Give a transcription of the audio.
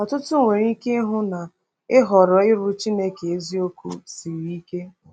Ọtụtụ nwere ike ịhụ na ịhọrọ ịrụ Chineke eziokwu siri ike.